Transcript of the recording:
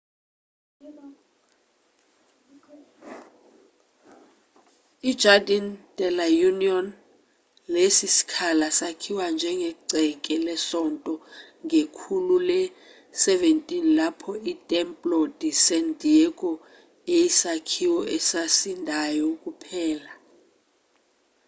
i-jardín de la unión. lesi sikhala sakhiwa njengegceke lesonto ngekhulu le-17 lapho i-templo de san diego eyisakhiwo esasindayo kuphela